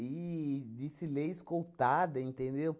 desfilei escoltada, entendeu?